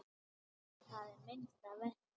En það er minnsta verkið.